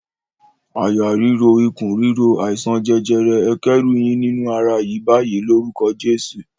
"Àyà ríro, ikùn ríro, àìsàn jẹjẹrẹ, ẹ kẹ́rù yín nínú ara yìí báyìí lórúkọ Jésù!"